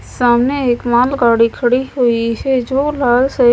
सामने एक माल गाड़ी खड़ी हुई है जो --